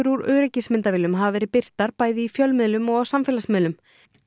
úr öryggismyndavélum hafa verið birtar bæði í fjölmiðlum og á samfélagsmiðlum